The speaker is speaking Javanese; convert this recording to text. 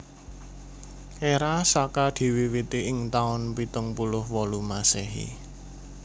Era Saka diwiwiti ing taun pitung puluh wolu Masehi